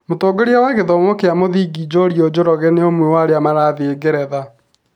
Mũtongoria wa gĩthomo kĩa mũthingi Njuriũ Njoroge nĩ ũmwe wa arĩa marathiĩ ngeretha.